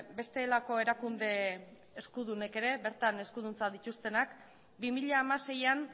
bestelako erakunde eskudunek ere bertan eskuduntza dituztenak bi mila hamaseian